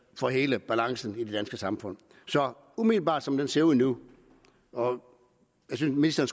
for hele balancen i det danske samfund umiddelbart som det ser ud nu synes jeg